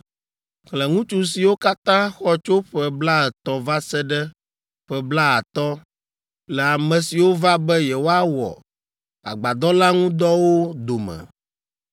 Xlẽ ŋutsu siwo katã xɔ tso ƒe blaetɔ̃ va se ɖe ƒe blaatɔ̃ le ame siwo va be yewoawɔ agbadɔ la ŋu dɔwo dome